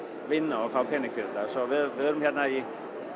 vinna og fá pening fyrir það við erum hérna í